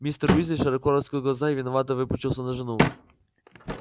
мистер уизли широко раскрыл глаза и виновато выпучился на жену